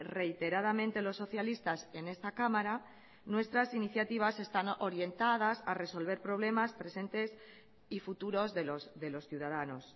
reiteradamente los socialistas en esta cámara nuestras iniciativas están orientadas a resolver problemas presentes y futuros de los ciudadanos